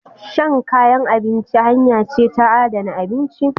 Shan kayan abinci hanya ce ta adana abinci.